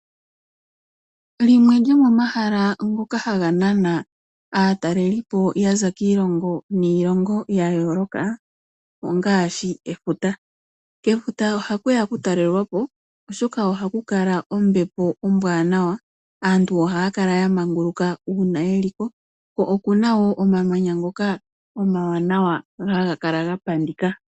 Limwe lyomomahala ngoka haga nana aatalelipo yaza kiilongo niilongo yayooloka ongaashi efuta, kefuta ohaku ya okutalelwa po, oshoka ohaku kala ombepo ombwaanawa . AAntu ohaa kala yamanguluka uuna yeli ko, ko oku na wo omamanya ngoka omwaanawa haga kala ga pandika.